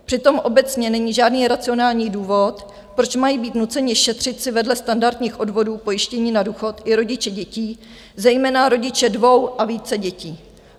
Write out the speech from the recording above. Přitom obecně není žádný racionální důvod, proč mají být nuceni šetřit si vedle standardních odvodů pojištění na důchod i rodiče dětí, zejména rodiče dvou a více dětí.